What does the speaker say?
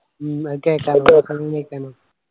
ഉം അതെ